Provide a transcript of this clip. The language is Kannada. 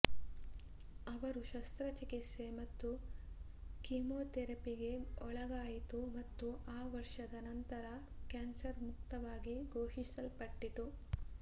ಅವರು ಶಸ್ತ್ರಚಿಕಿತ್ಸೆ ಮತ್ತು ಕಿಮೊಥೆರಪಿಗೆ ಒಳಗಾಯಿತು ಮತ್ತು ಆ ವರ್ಷದ ನಂತರ ಕ್ಯಾನ್ಸರ್ ಮುಕ್ತವಾಗಿ ಘೋಷಿಸಲ್ಪಟ್ಟಿತು